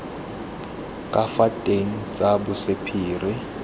ka fa teng tsa bosephiri